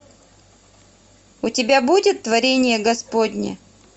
у тебя будет творение господне